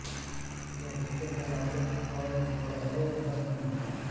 यह झीलों तालाबों और गड़हों तक में होता है